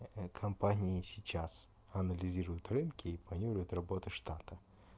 компании сейчас анализируют рынки и планируют работу штата